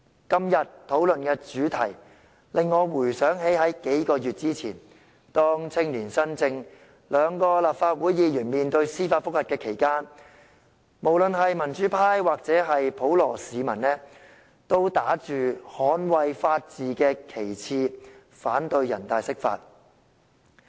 今天討論的主題，令我回想起在數個月之前，青年新政兩位立法會議員面對司法覆核時，無論民主派或普羅市民都打着捍衞法治的旗幟，反對人大釋法。